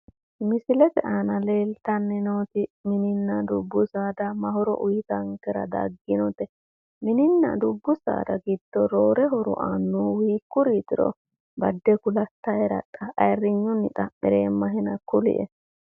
Misilete aana leeltanni nooti mininna dubu saada ma horo uuyitankera dagginote? mininna dubbu saada giddo roore horo aannori hiikkuriitiro badde kulattaera ayiirinyunni xa'mireemmahena kulie.